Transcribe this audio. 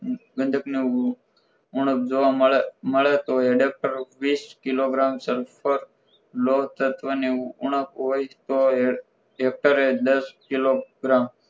બદક ની ઉણપ જોવા મળે તો એડેપ્ટર વીસ કિલોગ્રામ સર્પર રોડ તત્વને ઉણપ હોય તો ઍક્ટરે એ દસ કિલોગ્રામ